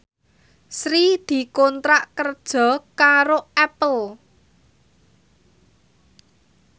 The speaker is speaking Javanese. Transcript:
Sri dikontrak kerja karo Apple